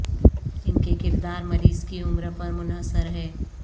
ان کے کردار مریض کی عمر پر منحصر ہے